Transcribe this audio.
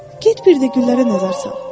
Get bir də güllərə nəzər sal.